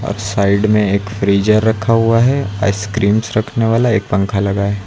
और साइड में एक फ्रीजर रखा हुआ है आइसक्रीम्स रखने वाला एक पंखा लगा है।